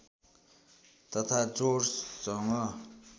तथा जोडसँग